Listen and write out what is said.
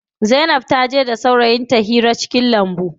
Zainab taje da saurayin hira cikin lambu.